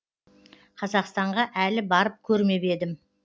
қазақстанға әлі барып көрмеп едім